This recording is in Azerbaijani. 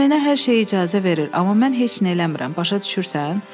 O mənə hər şeyə icazə verir, amma mən heç nə eləmirəm, başa düşürsən?